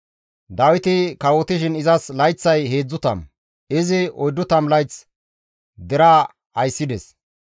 Dawiti kawotishin izas layththay 30; izi 40 layth deraa ayssides.